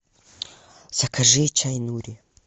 закажи чай нури